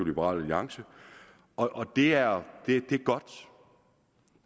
liberal alliance og det er